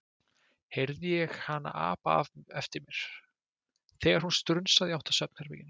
heyrði ég hana apa eftir mér, þegar hún strunsaði í átt að svefnherberginu.